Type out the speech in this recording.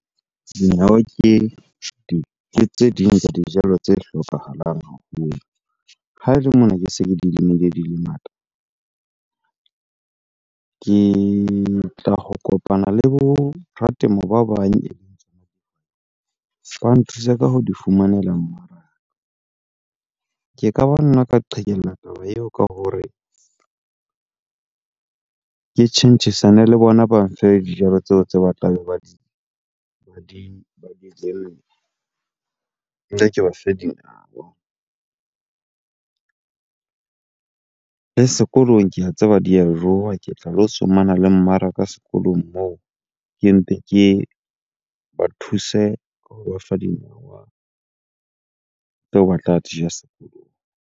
Dinawa ke tse ding tsa dijalo tse hlokahalang haholo. Ha ele mona ke se ke di lemile di le ngata, ke tla ho kopana le bo ratemo ba bang ba nthuse ka ho di fumanela mmaraka. Ke ka ba nna ka qhekella taba eo ka hore ke tjhentjhisane le bona, ba mfe dijalo tseo tse batlang ba di , nna ke ba fe dinawa. Le sekolong ke a tseba di ya jowa, ke tla lo tsomana le mmaraka sekolong moo. Ke mpe ke ba thuse hoba fa dinawa tseo ba tla dija sekolong.